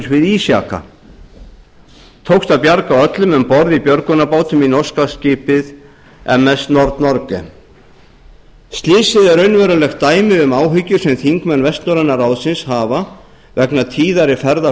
við ísjaka tókst að bjarga öllum um borð í björgunarbát í norska skipið ms noreg norge slysið er raunverulegt dæmi um áhyggjur sem þingmenn vestnorræna ráðsins hafa vegna tíðari ferða